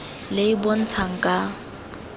le e e bontshang ka